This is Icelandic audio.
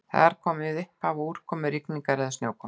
Þar er komið upphaf úrkomu, rigningar eða snjókomu.